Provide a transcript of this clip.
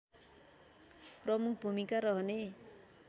प्रमुख भूमिका रहने